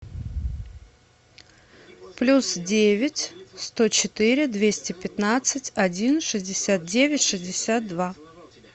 плюс девять сто четыре двести пятнадцать один шестьдесят девять шестьдесят два